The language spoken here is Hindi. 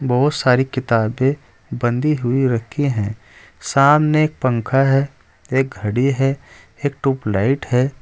बहोत सारी किताबें बंधी हुई रखी हैं सामने एक पंखा है एक घड़ी है एक ट्यूबलाइट है।